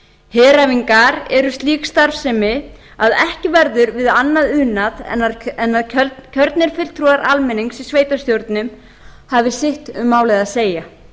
heræfingar er slík starfsemi að ekki verður við annað unað en að kjörnir fulltrúar almennings í sveitarstjórnum hafi sitt um málið að segja